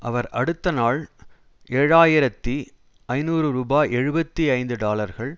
அவர் அடுத்தநாள் ஏழு ஆயிரத்தி ஐநூறு ரூபா எழுபத்தி ஐந்து டாலர்கள்